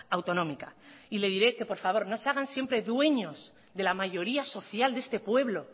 autonómica y le diré que por favor no se hagan siempre dueños de la mayoría social de este pueblo